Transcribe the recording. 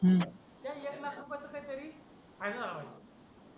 त्याच एक लाख रुपयांचा काहीतरी फायदा झाला होता